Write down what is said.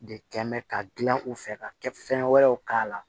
De kɛ mɛn ka gilan u fɛ ka kɛ fɛn wɛrɛw k'a la